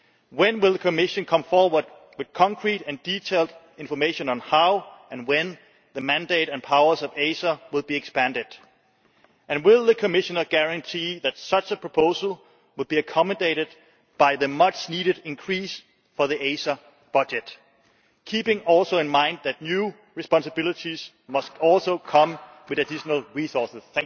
When will the Commission come forward with concrete and detailed information on how and when the mandate and powers of ACER will be expanded, and will the Commissioner guarantee that such a proposal would be accommodated by the much needed increase for the ACER budget, keeping also in mind that new responsibilities must also come with additional resources?